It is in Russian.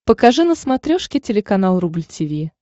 покажи на смотрешке телеканал рубль ти ви